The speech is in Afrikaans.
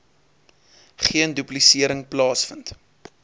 geen duplisering plaasvind